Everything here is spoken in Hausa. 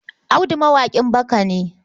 Audu mawaƙin baka ne.